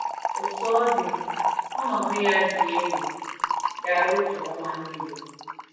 Otú ọ dị, ọnọdụ ya dị egwu gara otu ọnwa niile.